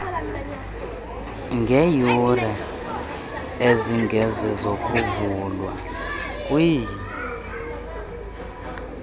ngeeyure ezingezozokuvulwa kwe